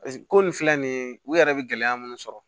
paseke ko nin filɛ nin ye u yɛrɛ be gɛlɛya munnu sɔrɔ